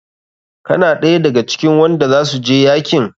Kana ɗaya da ga cikin wanda za su je yakin?